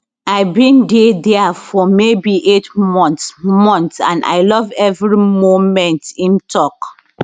i bin dey dia for maybe eight months months and i love evri momentim tok